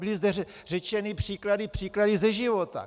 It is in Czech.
Byly zde řečeny příklady ze života.